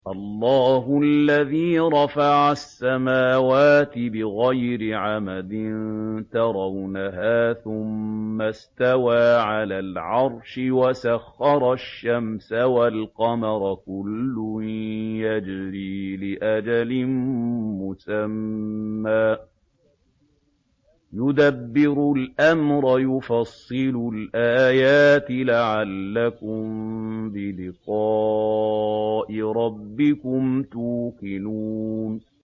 اللَّهُ الَّذِي رَفَعَ السَّمَاوَاتِ بِغَيْرِ عَمَدٍ تَرَوْنَهَا ۖ ثُمَّ اسْتَوَىٰ عَلَى الْعَرْشِ ۖ وَسَخَّرَ الشَّمْسَ وَالْقَمَرَ ۖ كُلٌّ يَجْرِي لِأَجَلٍ مُّسَمًّى ۚ يُدَبِّرُ الْأَمْرَ يُفَصِّلُ الْآيَاتِ لَعَلَّكُم بِلِقَاءِ رَبِّكُمْ تُوقِنُونَ